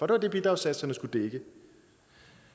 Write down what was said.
det var det bidragssatserne skulle dække